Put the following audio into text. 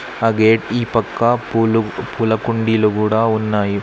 ఆ గేట్ ఈ పక్క పూలు కుండీలు కూడా ఉన్నాయి.